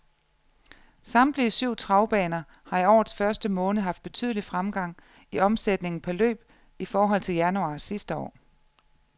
Samtlige syv travbaner har i årets første måned haft betydelig fremgang i omsætningen per løb i forhold til januar sidste år.